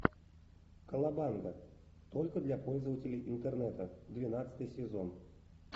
колобанга только для пользователей интернета двенадцатый сезон